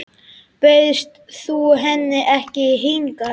Bauðst þú henni ekki hingað?